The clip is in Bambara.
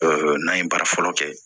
n'an ye baara fɔlɔ kɛ